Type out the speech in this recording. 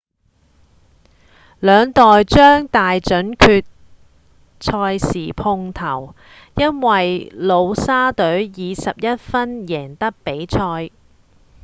兩隊將在大準決賽時碰頭因為努沙隊以11分贏得比賽